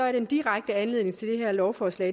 er den direkte anledning til det her lovforslag